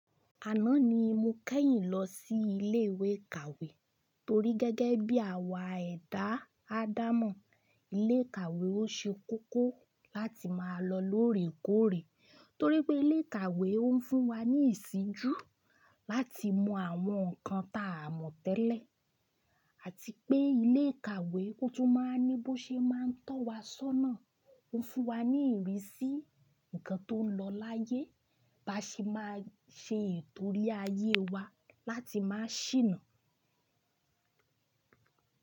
Àná ni mo kẹ́yìn lọ sí ilé ìwé ìkàwé torí gẹ́gẹ́ bí àwa ẹ̀dá Adamó, ilé ìkàwé ò ṣe kókó láti máa lọ lóòrèkóòrè torí pé ilé ìkàwé ò ń fún wa ní ìsinjú láti mọ àwọn nǹkan ta a mọ̀ tẹ́lẹ̀ àti pé ilé ìkàwé kó tó máa ní bó ṣe máa ń tọ́ wa sọ́nà, ó ń fún wa ní ìrísí nǹkan tó ń lọ láyé ba ṣe máa ṣe ìtòrí ayé wa láti má sìna.